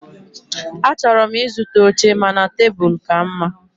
Achọrọ m ịzụta oche mana tebụl ka mma.